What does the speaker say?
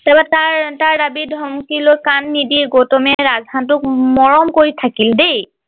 তাপা তাৰ তাৰ দাবি ধমকিলৈ কাণ নিদি গৌতমে ৰাজ হাঁহ টোক মৰম কৰি থাকিল দেই